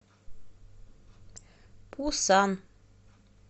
пусан